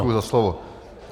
Děkuji za slovo.